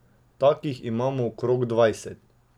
Takih imamo okrog dvajset.